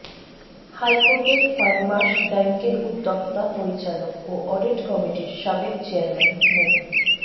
হাইকোর্টে ফারমার্স ব্যাংকের উদ্যোক্তা পরিচালক ও অডিট কমিটির সাবেক চেয়ারম্যান মো